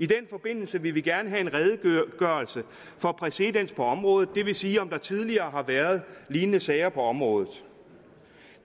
i den forbindelse vil vi gerne have en redegørelse for præcedens på området og det vil sige om der tidligere har været lignende sager på området